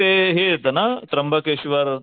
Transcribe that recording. ते हे येत ना त्र्यंबकेश्वर,